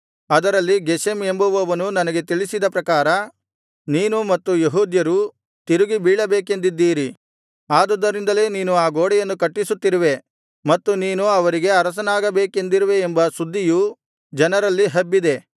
ಅದರಲ್ಲಿ ಗೆಷೆಮ್ ಎಂಬುವನು ನನಗೆ ತಿಳಿಸಿದ ಪ್ರಕಾರ ನೀನೂ ಮತ್ತು ಯೆಹೂದ್ಯರೂ ತಿರುಗಿ ಬೀಳಬೇಕೆಂದಿದ್ದೀರಿ ಆದುದರಿಂದಲೇ ನೀನು ಆ ಗೋಡೆಯನ್ನು ಕಟ್ಟಿಸುತ್ತಿರುವೆ ಮತ್ತು ನೀನು ಅವರಿಗೆ ಅರಸನಾಗಬೇಕೆಂದಿರುವೆಯೆಂಬ ಸುದ್ದಿಯು ಜನರಲ್ಲಿ ಹಬ್ಬಿದೆ